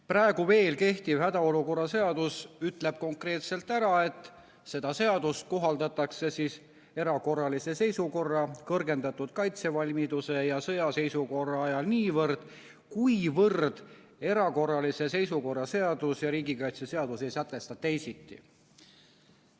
Praegu veel kehtiv hädaolukorra seadus ütleb konkreetselt, et seda seadust kohaldatakse erakorralise seisukorra, kõrgendatud kaitsevalmiduse ja sõjaseisukorra ajal niivõrd, kuivõrd erakorralise seisukorra seadus ja riigikaitseseadus ei sätesta teisiti.